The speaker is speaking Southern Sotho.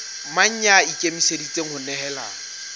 mang ya ikemiseditseng ho nehelana